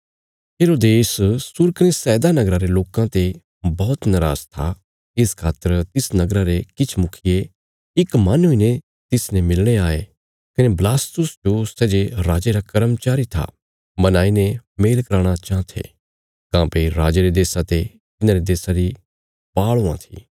हेरोदेस सूर कने सैदा नगरा रे लोकां ते बौहत नराज था इस खातर तिस नगरा रे किछ मुखिये इक मन हुईने तिसने मिलणे आये कने बलास्तुस जो सै जे राजे रा कर्मचारी था मनाई ने मेल कराणा चाँह थे काँह्भई राजे रे देशा ते तिन्हांरे देशा री पाल़ हुआं थी